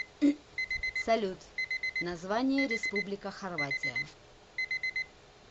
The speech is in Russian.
салют название республика хорватия